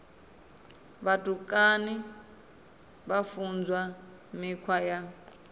vhutukani vha funzwa mikhwa ya